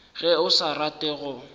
ge o sa rate go